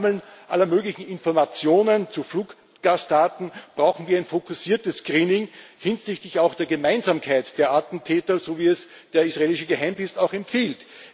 Statt dem Sammeln aller möglichen Informationen zu Fluggastdaten brauchen wir ein fokussiertes Screening hinsichtlich auch der Gemeinsamkeit der Attentäter, so, wie es der israelische Geheimdienst auch empfiehlt.